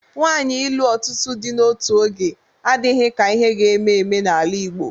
Nwaanyi ịlụ ọtụtụ di n'otu oge adịghị ka ihe ga-eme eme n'ala Igbo.